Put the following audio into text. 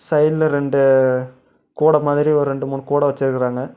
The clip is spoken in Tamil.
சைடுல ரெண்டு கூட மாரி ஒரு ரெண்டு மூணு கூட வெச்சுருக்கறாங்க.